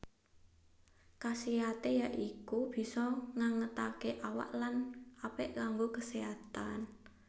Kasiaté ya iku bisa ngangetaké awak lan apik kanggo keséhatan